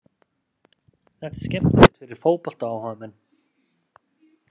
Þetta er skemmtilegt fyrir fótboltaáhugamenn.